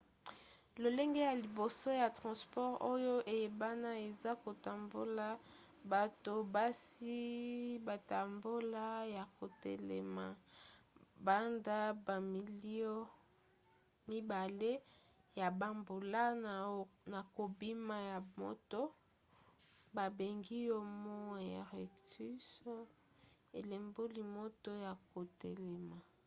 lolenge ya liboso ya transport oyo eyebana eza kotambola bato basi batambola ya kotelema banda bamilio mibale ya bambula na kobima ya moto babengi homo erectus elimboli moto ya kotelema